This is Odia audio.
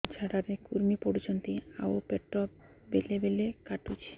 ଝାଡା ରେ କୁର୍ମି ପଡୁଛନ୍ତି ଆଉ ପେଟ ବେଳେ ବେଳେ କାଟୁଛି